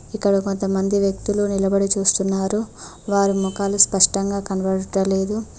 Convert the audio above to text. ఇక్కడ కొంతమంది వ్యక్తులు నిలబడి చూస్తున్నారు వారి మొఖాలు స్పష్టంగా కనబడుట లేదు.